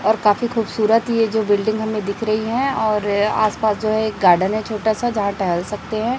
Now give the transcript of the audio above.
और काफी खूबसूरत ये जो बिल्डिंग हमें दिख रही है और आस पास जो है गार्डन है छोटा सा जहां टहल सकते हैं।